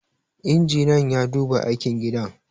injiniyan ya duba aikin gidan